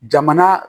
Jamana